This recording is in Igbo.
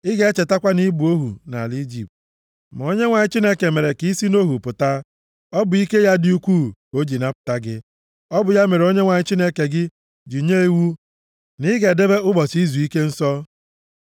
Ị ga-echetakwa na ị bụ ohu nʼala Ijipt, ma Onyenwe anyị Chineke mere ka i si nʼohu pụta. Ọ bụ ike ya dị ukwuu ka o ji napụta gị. Ọ bụ ya mere Onyenwe anyị Chineke gị ji nye iwu na ị ga-edebe ụbọchị izuike nsọ.